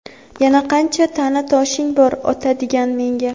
Yana qancha ta’na toshing bor otadigan menga ?.